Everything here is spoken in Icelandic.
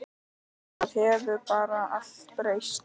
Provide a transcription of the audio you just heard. Það hefur bara allt breyst.